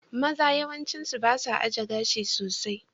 Maza yawanci ba su ajiye gashi sosai.